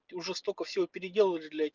ты уже столько всего переделываешь блять